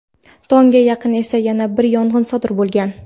Tongga yaqin esa yana bir yong‘in sodir bo‘lgan.